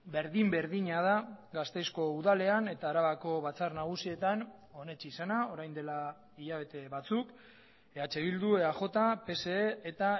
berdin berdina da gasteizko udalean eta arabako batzar nagusietan onetsi zena orain dela hilabete batzuk eh bildu eaj pse eta